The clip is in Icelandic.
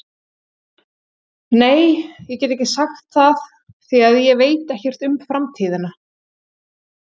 Nei, ég get ekki sagt það því að ég veit ekkert um framtíðina.